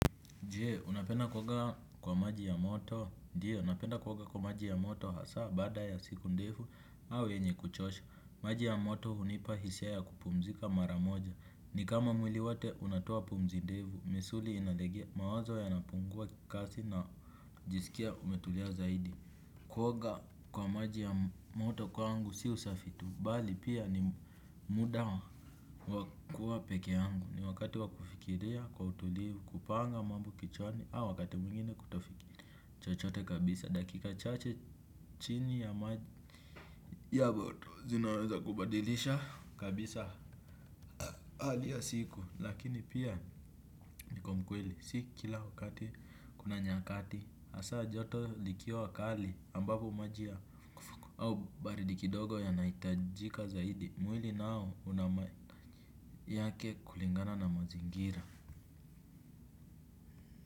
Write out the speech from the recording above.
Je, unapenda kuoga kwa maji ya moto, ndio, napenda kuoga kwa maji ya moto hasa baada ya siku ndefu au yenye kuchosha. Maji ya moto hunipa hisia ya kupumzika mara moja. Ni kama mwili wote unatoa pumzi ndefu, misuli inalegema, mawazo yanapungua kasi najiskia kumetulia zaidi. Kuoga kwa maji ya moto kwangu si usafi tu, bali pia ni muda wa kuwa peke yangu. Ni wakati wa kufikiria kwa utulivu, kupanga mambo kichwani au wakati mwingine kutofikiria chochote kabisa, dakika chache chini ya maji ya moto, zinaweza kubadilisha kabisa hali ya siku, lakini pia niko mkweli. Si kila wakati kuna nyakati hasa joto likiwa kali ambapo maji ya au baridi kidogo yanahitajika zaidi. Mwili nao una yake kulingana na mazingira.